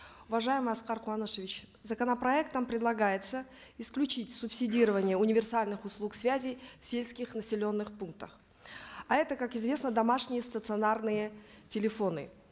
уважаемый аскар куанышевич законопроектом предлагается исключить субсидирование универсальных услуг связи в сельских населенных пунктах а это как известно домашние стационарные телефоны